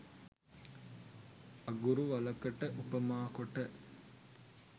අඟුරු වළකට උපමා කොට